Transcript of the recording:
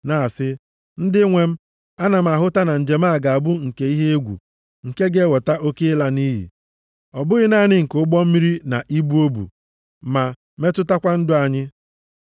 na-asị, “Ndị nwe m, a na m ahụta na njem a ga-abụ nke ihe egwu nke ga-eweta oke ịla nʼiyi. Ọ bụghị naanị nke ụgbọ mmiri na ibu o bu, ma metụtakwa ndụ anyị.”